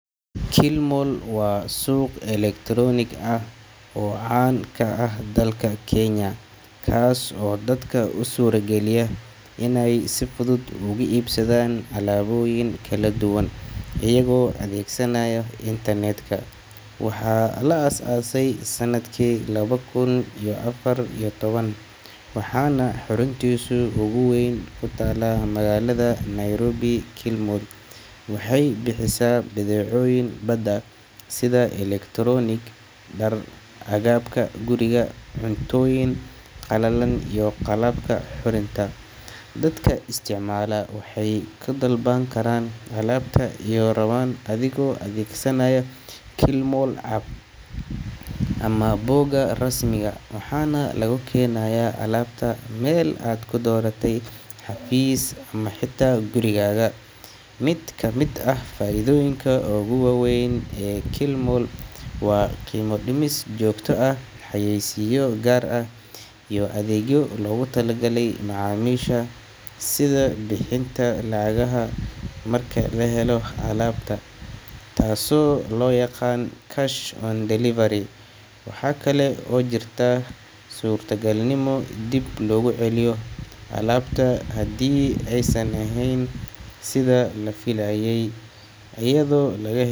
Kilimall waa suuq elektaroonig ah oo caan ka ah dalka Kenya, kaas oo dadka u suurageliya inay si fudud uga iibsadaan alaabooyin kala duwan iyaga oo adeegsanaya internet-ka. Waxaa la aasaasay sanadkii laba kun iyo afar iyo toban, waxaana xaruntiisa ugu weyn ku taallaa magaalada Nairobi. Kilimall waxay bixisaa badeecooyin badan sida elektaroonig, dhar, agabka guriga, cuntooyin qallalan iyo qalabka qurxinta. Dadka isticmaala waxay ku dalban karaan alaabta ay rabaan adigoo adeegsanaya Kilimall app ama bogga rasmiga ah, waxaana lagu keenayaa alaabta meel aad ku dooratay, xafiis ama xitaa gurigaaga. Mid ka mid ah faa'iidooyinka ugu waaweyn ee Kilimall waa qiimo dhimis joogto ah, xayeysiisyo gaar ah, iyo adeegyo loogu talagalay macaamiisha sida bixinta lacagta marka la helo alaabta, taasoo loo yaqaan cash on delivery. Waxa kale oo jirta suurtagalnimo dib loogu celiyo alaabta haddii aysan ahayn sida la filayay, iyadoo.